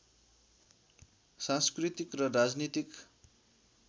सांस्कृतिक र राजनीतिक